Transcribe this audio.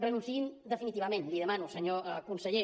renunciïn hi definitivament l’hi demano senyor conseller